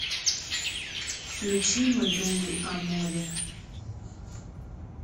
включи мы думай о море